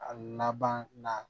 A laban na